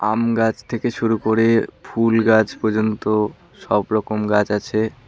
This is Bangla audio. আম গাছ থেকে শুরু করে ফুল গাছ পর্যন্ত সব রকম গাছ আছে।